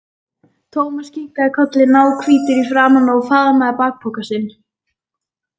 Thomas kinkaði kolli, náhvítur í framan, og faðmaði bakpokann sinn.